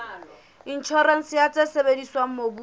inshorense ya tse sebediswang mobung